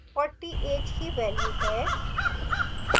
40 age की value है